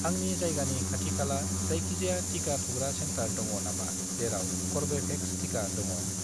आंनि जायगानि खाथिखाला जायखिजाया टिका थुग्रा सेन्टार दङ नामा जेराव कर्वेभेक्स टिका दङ?